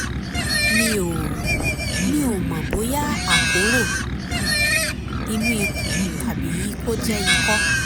mi ò mi ò mọ̀ bóyá àkóràn um inú ikùn tàbí kó jẹ́ ikọ́